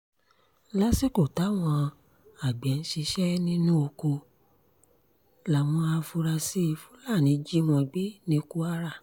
lásìkò táwọn àgbẹ̀ ń ṣiṣẹ́ nínú oko làwọn afurasí fúlàní jí wọn gbé ní kwara